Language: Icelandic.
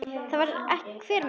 Það sér hver maður.